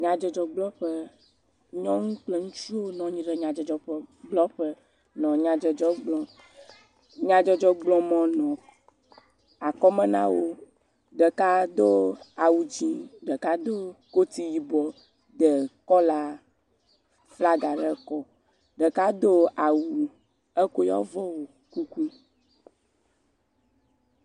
Nyadzɔdzɔgblɔƒe, nyɔnu kple ŋutsu wo nɔ anyi ɖe nyadzɔdzɔgblɔƒe nɔ nyadzɔdzɔ gblɔm, nyadzɔdzɔgblɔmɔ nɔ akɔme na wo, ɖeka do awu dzee, ɖeka do kot yibɔ, de kɔla flaga ɖe ekɔ, ɖeka do awu, ekɔ yewo avɔ wɔ kuku.